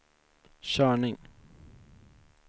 körning